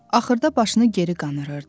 Axırda başını geri qanırırdı.